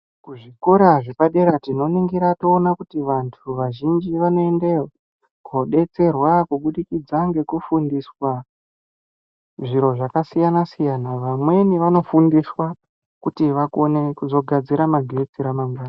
Kuzvikora zvepabera tinoningira toona kuti vantu vazhinji vanoendeyo kodetserwa kuburikidza ngekufundiswa zviro zvakasiyana siyana Vamweni vanofundiswa kuti vakone kuzogadzira magetsi ramangwana